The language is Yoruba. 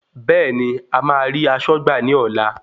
Bẹ́ẹ̀ni,ẹ máa rí aṣọ́gbà ní ọlá.